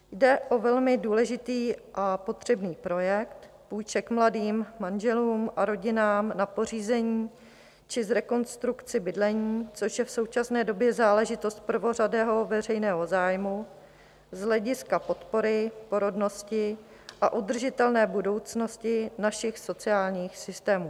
Jde o velmi důležitý a potřebný projekt půjček mladým manželům a rodinám na pořízení či k rekonstrukci bydlení, což je v současné době záležitost prvořadého veřejného zájmu z hlediska podpory, porodnosti a udržitelné budoucnosti našich sociálních systémů.